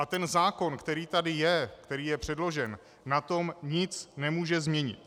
A ten zákon, který tady je, který je předložen, na tom nic nemůže změnit.